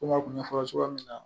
Komi a tun y'a fɔ cogoya min na